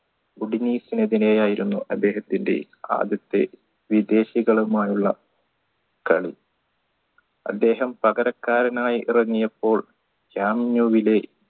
യായിരുന്നു അദ്ദേഹത്തിൻറെ ആദ്യത്തെ വിദേശികളുമായുള്ള കളി അദ്ദേഹം പകരക്കാരനായി ഇറങ്ങിയപ്പോൾ ജാമ്യുവിലെ